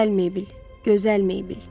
Gözəl Meybl, gözəl Meybl.